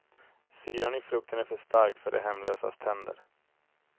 Syran i frukten är för stark för de hemlösas tänder.